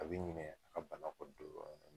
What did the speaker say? A bɛ ɲinɛ a ka bana kɔ don